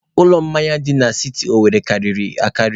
Ụlọ mmanya dị na siti Owerre karịrị akarị.